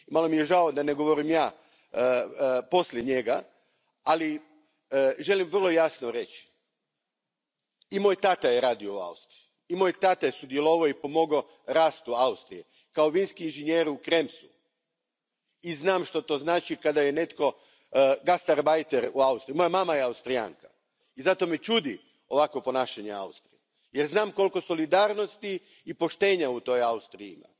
Malo mi je žao da ne govorim ja poslije njega, ali želim vrlo jasno reći i moj tata je radio u Austriji, i moj tata je sudjelovao i pomogao rast u Austriji kao vinski inženjer u Kremsu i znam što to znači kada je netko gastarbajter u Austriji. Moja mama je Austrijanka i zato me čudi ovakvo ponašanje Austrije, jer znam koliko solidarnosti i poštenja u toj Austriji ima.